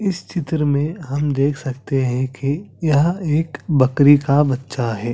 इस चित्र में हम देख सकते है कि यह एक बकरी का बच्चा हैं ।